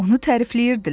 Onu tərifləyirdilər.